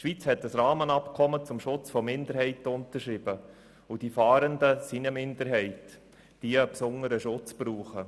Die Schweiz hat ein Rahmenabkommen zum Schutz für Minderheiten unterschrieben, und die Fahrenden sind eine Minderheit, die einen besonderen Schutz braucht.